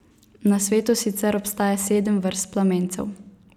Na svetu sicer obstaja sedem vrst plamencev.